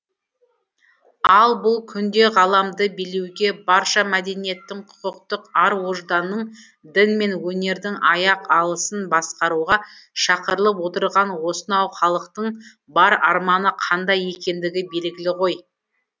ал бұл күнде ғаламды билеуге барша мәдениеттің құқықтық ар ожданның дін мен өнердің аяқ алысын басқаруға шақырылып отырған осынау халықтың бар арманы қандай екендігі белгілі ғой